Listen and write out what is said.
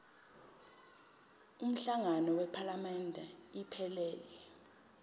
umhlangano wephalamende iphelele